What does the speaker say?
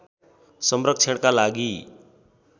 संरक्षणका लागि